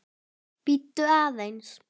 Bíddu aðeins!